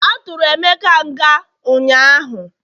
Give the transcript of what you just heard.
aturu emeka nga unyanya?